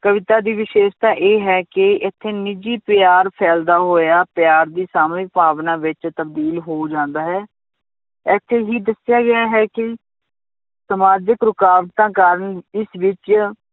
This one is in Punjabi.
ਕਵਿਤਾ ਦੀ ਵਿਸ਼ੇਸ਼ਤਾ ਇਹ ਹੈ ਕਿ ਇੱਥੇ ਨਿੱਜੀ ਪਿਆਰ ਫੈਲਦਾ ਹੋਇਆ ਪਿਆਰ ਦੀ ਸਾਮੂਹਿਕ ਭਾਵਨਾ ਵਿੱਚ ਤਬਦੀਲ ਹੋ ਜਾਂਦਾ ਹੈ, ਇੱਥੇ ਹੀ ਦੱਸਿਆ ਗਿਆ ਹੈ ਕਿ ਸਮਾਜਿਕ ਰੁਕਾਵਟਾਂ ਕਾਰਨ ਇਸ ਵਿੱਚ